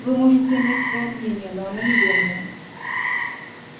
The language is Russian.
вы можете иметь своё мнение но оно неверное